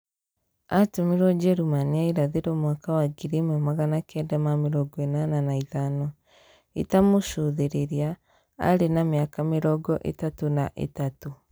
Aatũmirũo Njĩrĩmani ya Irathĩro mwaka wa 1985 . ĩta mũcũthĩrĩria arĩ na mĩaka mĩrongo ĩtatũ na ĩtatũ.